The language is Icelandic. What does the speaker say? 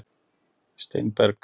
Steinberg